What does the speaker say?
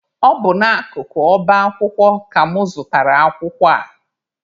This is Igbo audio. Ọ bụ n'akụkụ ọba akwụkwọ ka mụ zụtara akwụkwọ a.